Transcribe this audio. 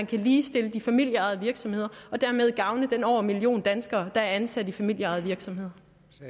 kan ligestille de familieejede virksomheder og dermed gavne den over en million danskere der er ansat i familieejede virksomheder